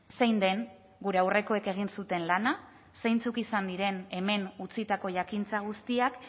zein den gure aurrekoek egin zuten lana zeintzuk izan diren hemen utzitako jakintza guztiak